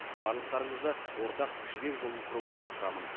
барлықтарыңызды ортақ жібек жолын құруға шақырамын